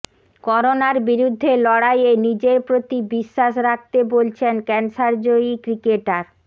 করোনার বিরুদ্ধে লড়াইয়ে নিজের প্রতি বিশ্বাস রাখতে বলছেন ক্যানসারজয়ী ক্রিকেটার